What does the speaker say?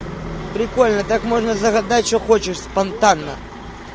прикольно так можно загадать что хочешь спонтанно